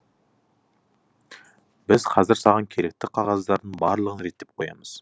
біз қазір саған керекті қағаздардың барлығын реттеп қоямыз